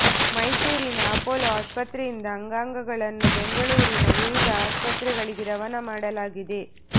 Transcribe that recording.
ಮೈಸೂರಿನ ಅಪೋಲೋ ಆಸ್ಪತ್ರೆಯಿಂದ ಅಂಗಾಂಗಗಳನ್ನು ಬೆಂಗಳೂರಿನ ವಿವಿಧ ಆಸ್ಪತ್ರೆಗಳಿಗೆ ರವಾನೆ ಮಾಡಲಾಗಿದೆ